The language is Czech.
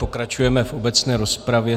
Pokračujeme v obecné rozpravě.